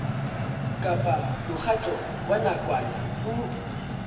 kapa mokgatlo wa nakwana o